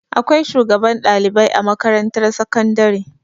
Akwai shugaban ɗalibai a makarantar sakandare.